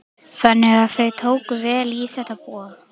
Þannig að þau tóku vel í þetta boð?